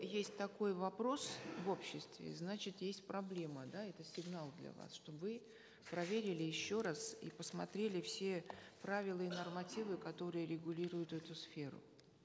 есть такой вопрос в обществе значит есть проблема да это сигнал для вас чтобы вы проверили еще раз и посмотрели все правила и нормативы которые регулируют эту сферу